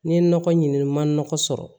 N ye nɔgɔ ɲini n man nɔgɔn sɔrɔ